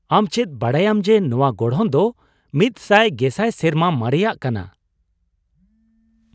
ᱟᱢ ᱪᱮᱫ ᱵᱟᱰᱟᱭᱟᱢ ᱡᱮ, ᱱᱚᱶᱟ ᱜᱚᱲᱦᱚᱱ ᱫᱚ ᱑᱐᱐᱐᱐ ᱥᱮᱨᱢᱟ ᱢᱟᱨᱮᱭᱟᱜ ᱠᱟᱱᱟ ᱾